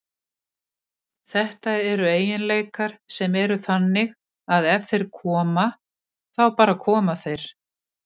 Þetta eru eiginleikar sem eru þannig að ef þeir koma, þá bara koma þeir.